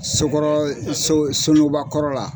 So kɔrɔ so suguba kɔrɔ la.